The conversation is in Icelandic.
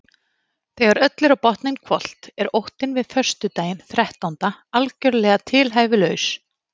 Þegar öllu er á botninn hvolft er óttinn við föstudaginn þrettánda algjörlega tilhæfulaus.